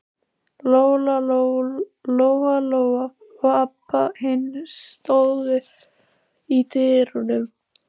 Lóa-Lóa og Abba hin stóðu í dyrunum.